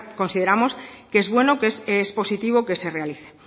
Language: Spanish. consideramos que es bueno que es positivo que se realice